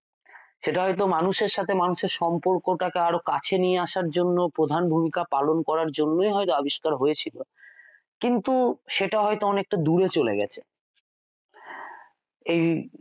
সেটা হয়তো মানুষের সাথে মানুষের সম্পর্কটাকে আরো কাছে নিয়ে আসার জন্য প্রধান ভূমিকা পালন করার জন্যই হয়তো আবিষ্কার হয়েছিল কিন্তু সেটা হয়তো অনেকটা দূরে চলে গেছে এই